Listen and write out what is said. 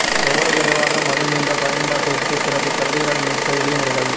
எவ்வளவு விரைவாக மது நீண்ட பயன்பாட்டிற்கு பிறகு கல்லீரல் மீட்க எளிய முறைகள்